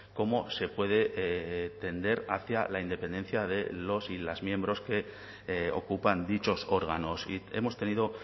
cómo se puede tender hacia la independencia de los y las miembros que ocupan dichos órganos y hemos tenido